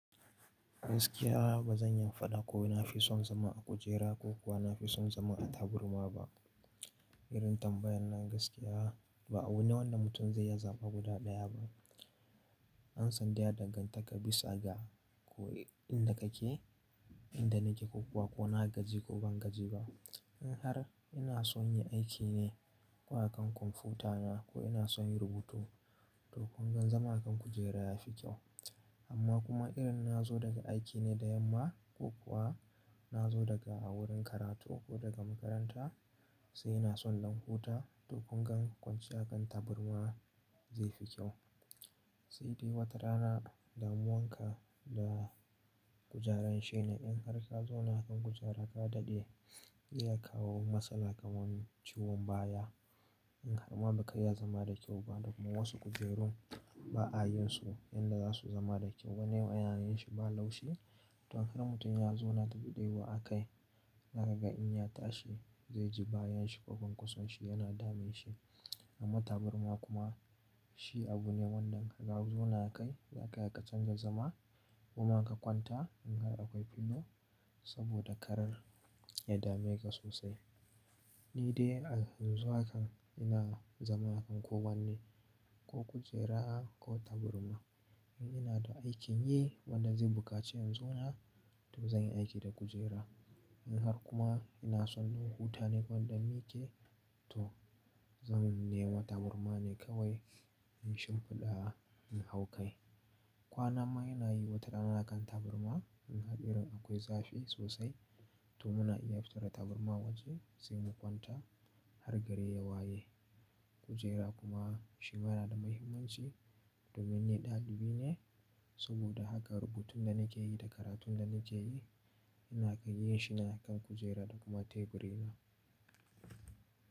Gaskiya ba zan iya faɗa ko na fi son zama a kujera ko kuwa na fi son zama a taburma ba. Irin tambayar nan gaskiya ba abu ne wanda mutum zai ya zaba guda ɗaya ba. Amsan dai ya dangantaka bisa ga ko inda kake, inda nake ko kuwa ko na gaji ko ban gaji ba. In har ina son yin aiki ne ko akan kwamfutana ko ina son yin rubutu to kun gan zama a kan kujera ya fi kyau. Amma kuma idan na zo daga aiki ne da yamma ko kuwa na zo daga a wurin karatu ko daga makaranta sai ina son in dan huta to kun gan kwanciya a kan taburma zai fi kyau. Sai dai wata rana damuwan ka da kujeran shi ne in har ka zo na kan kujera ka daɗe zai iya kawo matsala kamar ciwon baya. In har ma ba ka iya zama da kyau ba da kuma wasu kujerun ba a yin su yanda za su zama da kyau. Wani wayyanin shi ba laushi to in har mutum ya zona tafi ɗayawa a kai, zaka ga in ya tashi zai ji bayan shi ko konkoson shi yana dame shi. Amma taburma kuma shi abu ne wanda in ka zo na a kai, za ka iya ka canza zama kuma ka kwanta in har akwai filo saboda karar ya dame ka sosai. Ni dai a yanzu haka ina zama a kan kowane, ko kujera ko taburma. In ina da aikin yi wanda zai buƙaci in zo na to zan yi aiki da kujera. In har kuma ina son in huta ne ko in dan mike to zan nemi taburma ne kawai in shimfiɗa in hau kai. Kwanan ma ina yi wata rana a kan taburma in har irin akwai zafi sosai to muna iya fita da taburma waje sai mu kwanta har gari ya waye. Kujera kuma shi yana da muhimmanci domin ni ɗalibi ne saboda haka rubutun da nake yi da karatun da nake yi ina iya yin shi nan a kan kujera da kuma teburi na.